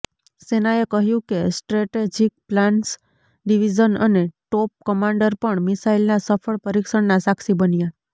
સેનાએ કહ્યું કે સ્ટ્રેટેજિક પ્લાન્સ ડિવીઝન અને ટોપ કમાન્ડર પણ મિસાઇલના સફળ પરીક્ષણના સાક્ષી બન્યા